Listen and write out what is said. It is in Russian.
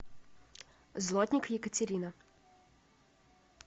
злотник екатерина